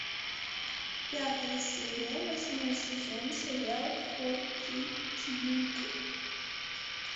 пятая серия восьмой сезон сериал фортитьюд